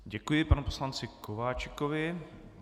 Děkuji panu poslanci Kováčikovi.